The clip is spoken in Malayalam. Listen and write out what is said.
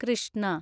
കൃഷ്ണ